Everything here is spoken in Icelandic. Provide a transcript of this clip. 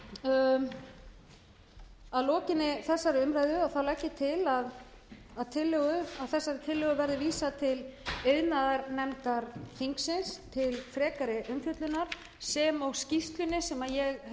að lokinni þessari umræðu legg ég til að þessari tillögu verði vísað til iðnaðarnefndar þingsins til frekari umfjöllunar sem og skýrslunni sem ég